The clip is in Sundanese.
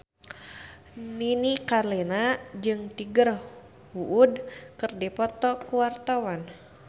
Nini Carlina jeung Tiger Wood keur dipoto ku wartawan